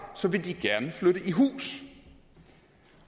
så vil de gerne flytte i hus